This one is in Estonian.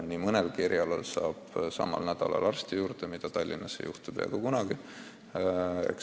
Nii mõnegi eriarsti juurde pääseb samal nädalal, mida Tallinnas ei juhtu peaaegu kunagi.